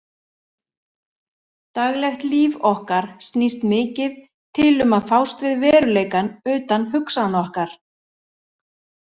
Daglegt líf okkar snýst mikið til um að fást við veruleikann utan hugsana okkar.